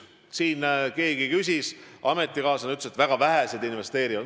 Siin üks teie ametikaaslane ütles, et väga vähesed investeerivad.